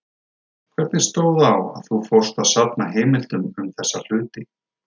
Hvernig stóð á að þú fórst að safna heimildum um þessa hluti?